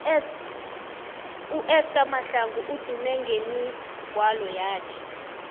uesther mahlangu udume ngemigwalo yakhe